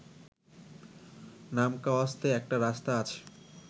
নামকাওয়াস্তে একটা রাস্তা আছে